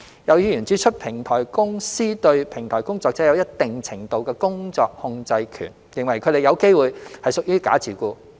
有議員指出，平台公司對平台工作者有一定程度的工作控制權，認為他們有機會是屬於假自僱。